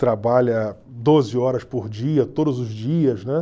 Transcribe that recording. trabalha doze horas por dia, todos os dias, né?